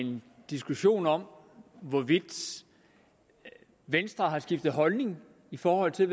en diskussion om hvorvidt venstre har skiftet holdning i forhold til